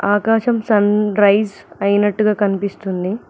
ఆకాశం sunrise ఐనట్టుగా కనిపిస్తుంది.